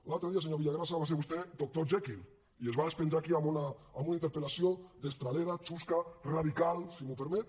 l’altre dia senyor villagrasa va ser vostè doctor jekyll i es va despenjar aquí amb una interpel·lació destralera chusca radical si m’ho permet